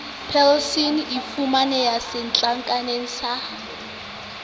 persal e fumaneha setlankaneng sa